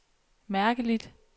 mærkeligt